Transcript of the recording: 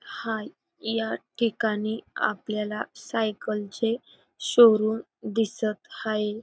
हाय या ठिकाणी आपल्याला सायकलचे शोरूम दिसत हाये.